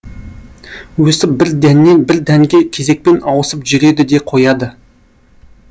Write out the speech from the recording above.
өстіп бір дәннен бір дәнге кезекпен ауысып жүреді де қояды